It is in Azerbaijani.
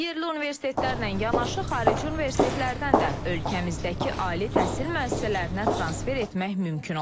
Yerli universitetlərlə yanaşı xarici universitetlərdən də ölkəmizdəki ali təhsil müəssisələrinə transfer etmək mümkün olacaq.